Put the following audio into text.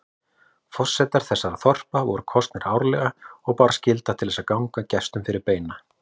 Forsetar þessara þorpa voru kosnir árlega og bar skylda til að ganga gestum fyrir beina.